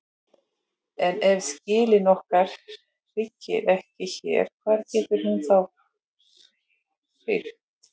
En ef síldin okkar hrygnir ekki hér hvar getur hún þá hrygnt?